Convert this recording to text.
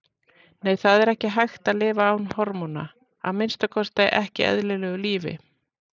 Nei, það er ekki hægt að lifa án hormóna, að minnsta kosti ekki eðlilegu lífi.